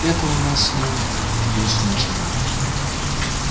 это у нас с ним вечная тема